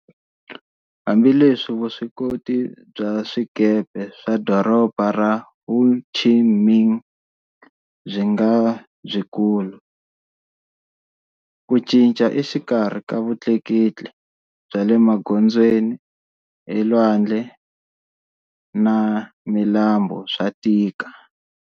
Hambi leswi vuswikoti bya swikepe swa Doroba ra Ho Chi Minh byi nga byikulu, ku cinca exikarhi ka vutleketli bya le magondzweni, elwandle na milambu swa tika.